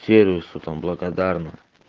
сервису там благодарны